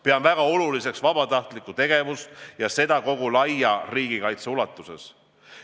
Pean väga oluliseks vabatahtlikku tegevust, ja seda kogu laia riigikaitse ulatuses.